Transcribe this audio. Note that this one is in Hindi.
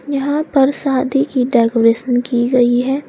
यहां पर शादी की डेकोरेशन की गई है।